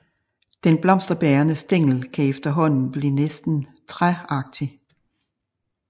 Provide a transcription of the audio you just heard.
Den blomsterbærende stængel kan efterhånden blive næsten træagtig